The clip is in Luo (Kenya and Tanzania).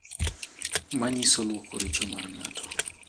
Manyiso lwoko richo mar ng'ato